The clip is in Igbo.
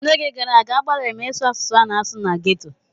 N'oge gara aga, agbalịrị m ịsụ asụsụ a na-asụ na ghetto.